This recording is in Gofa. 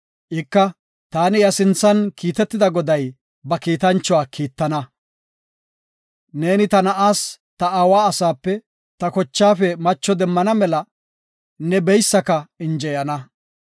Ika, taani iya sinthan kiitetida Goday ba kiitanchuwa kiittana; neeni ta na7aas ta aawa asaape, ta kochaafe macho demmana mela, ne beysaka injeyana.